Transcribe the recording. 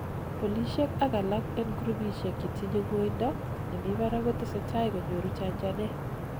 polisiek ak alak en groupishek chetinyei ngoindo nemibarak kotesetai konyoru chanchanet